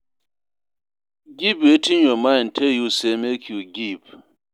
Give wetin your mind tell you say make you give